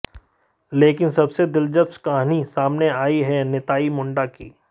लेकिन सबसे दिलचस्प कहानी सामने आई है निताई मुंडा की